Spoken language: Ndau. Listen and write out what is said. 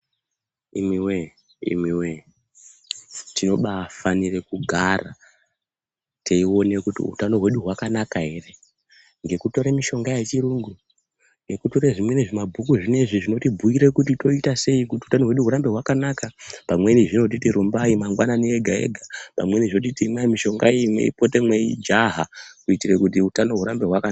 Imi we imi we tinobai fanire kugara teione kuti utano hwedu hwaka naka ere ngekutore mishonga ye chirungu ngeku tore zvimweni zvima bhuku zvinezvi zvinoti bhuyire kuti tooita sei kuti utano hwedu hurambe hwaka naka pamweni zvinotiti rumbai mangwanani ega ega pamweni zvinotiti imwai mishonga iyi mwei pote mei jaha kuti utano hwurambe hwakanaka.